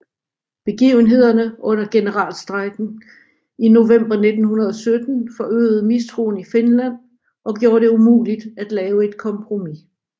Begivenhederne under generalstrejken i november 1917 forøgede mistroen i Finland og gjorde det umuligt at lave et kompromis